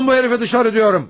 Alın bu hərifi dışarı deyirəm!